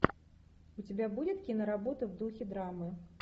у тебя будет киноработа в духе драмы